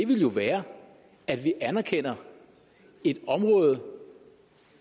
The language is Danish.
ville jo være at vi anerkender et område